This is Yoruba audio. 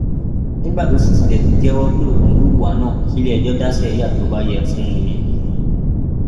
nígbà tó sì tilẹ ti jẹwọ pé òun hùwà náà kí iléẹjọ dá síríà tó bá yẹ fún un ni